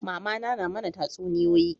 Mamana na mana tatsuniyoyi